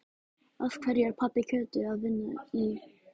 Af hverju er pabbi Kötu að vinna í